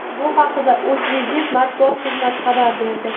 Bu haqda O‘zLiDeP matbuot xizmati xabar berdi .